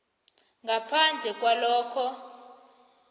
ngaphandle kwalokha